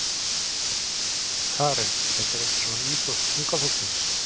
Karen: Þetta er ekki svona íþrótt unga fólksins?